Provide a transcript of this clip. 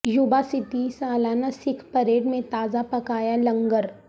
یوبا city سالانہ Sikh parade میں تازہ پکایا لانگار